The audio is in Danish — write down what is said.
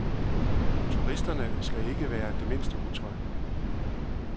Turisterne ikke skal være det mindste utrygge.